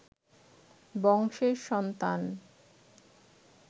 বংশের সন্তান